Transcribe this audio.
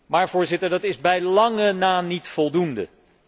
Maar Voorzitter, dat is bij lange na niet voldoende.